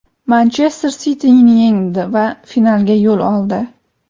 "Manchester Siti"ni yengdi va finalga yo‘l oldi.